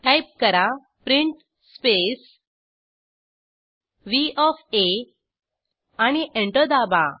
type करा print space व्ह ओएफ आ आणि एंटर दाबा